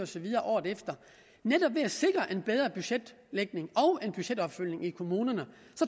så videre året efter netop ved at sikre en bedre budgetlægning og en budgetopfølgning i kommunerne